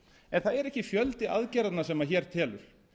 en það er ekki fjöldi aðgerðanna sem hér telur